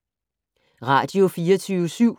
Radio24syv